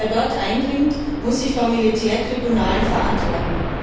Wer dort eindringt, muss sich vor Militärtribunalen verantworten.